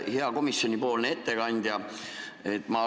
Hea komisjonipoolne ettekandja!